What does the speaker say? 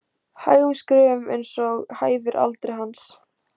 Hægum skrefum eins og hæfir aldri hans.